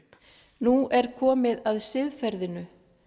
nú er komið að siðferðinu